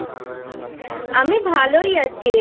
আমি ভালোই আছি রে।